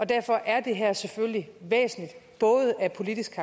derfor er det her selvfølgelig væsentligt både af politiske